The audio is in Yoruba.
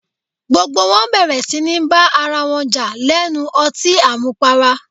Gbogbo wọn bẹ̀rẹ̀ síní bá ara wọn jà lẹ́nu ọtín àmupara